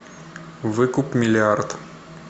выкуп миллиард